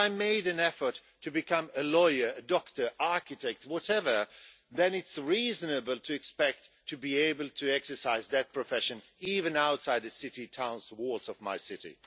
If I made an effort to become a lawyer, a doctor, an architect, whatever, then it's reasonable to expect to be able to exercise that profession, even outside the walls of my city.